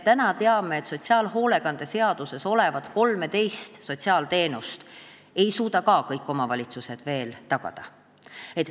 Me teame, et ka sotsiaalhoolekande seaduses kirjas olevat 13 sotsiaalteenust ei suuda kõik omavalitsused veel tagada.